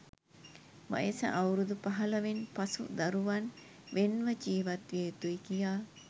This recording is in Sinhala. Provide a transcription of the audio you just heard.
වයස අවුරුදු පහළොවෙන් පසු දරුවන් වෙන් ව ජීවත්විය යුතුයි කියා.